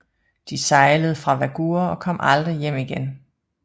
De sejlede fra Vágur og kom aldrig hjem igen